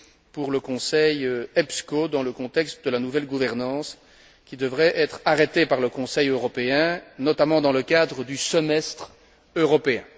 pour le Conseil EPSCO dans le contexte de la nouvelle gouvernance, qui devrait être arrêtée par le Conseil européen, notamment dans le cadre du semestre européen.